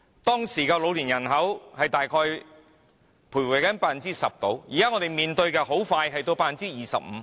當時的老年人口大約徘徊 10%， 現在我們即將面對的是 25%。